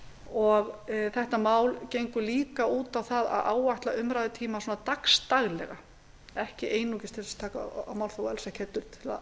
að mínu mati þetta mál gengur líka út á að áætla umræðutímann dagsdaglega því er ekki einungis ætlað að taka á málþófi heldur til að